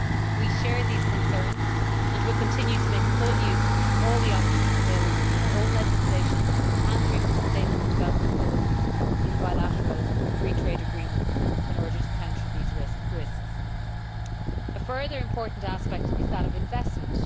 We share these concerns and will continue to make full use of all the options available in our own legislation and through the sustainable development clauses in bilateral free trade agreements in order to counter these risks. A further important aspect is that of investment.